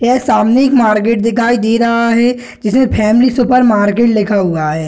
यह सामने एक मार्केट दिखाई दे रहा है जिसमें फैमिली सुपरमार्केट लिखा हुआ है।